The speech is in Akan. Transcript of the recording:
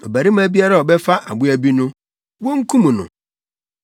“Ɔbarima biara a ɔbɛfa aboa bi no, wonkum no.